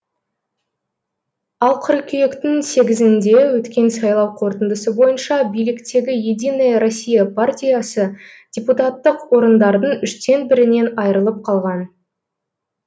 ал қыркүйектің сегізінде өткен сайлау қорытындысы бойынша биліктегі единая россия партиясы депутаттық орындардың үштен бірінен айрылып қалған